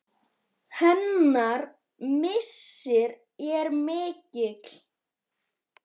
Hennar missir er mikill.